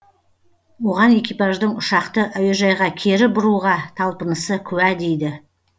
оған экипаждың ұшақты әуежайға кері бұруға талпынысы куә дейді